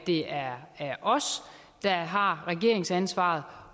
det er os der har regeringsansvaret